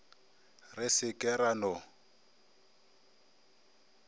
re se ke ra no